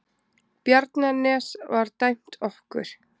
Bjarnanes var dæmt okkur!